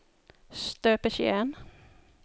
støpeskjeen